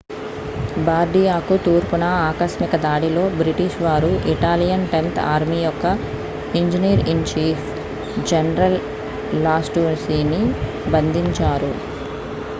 బార్డియాకు తూర్పున ఆకస్మిక దాడిలో బ్రిటిష్ వారు ఇటాలియన్ టెన్త్ ఆర్మీ యొక్క ఇంజనీర్-ఇన్-చీఫ్ జనరల్ లాస్టూసిని బంధించారు